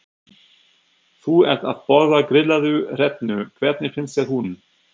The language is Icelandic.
Þú ert að borða grillaða hrefnu, hvernig finnst þér hún?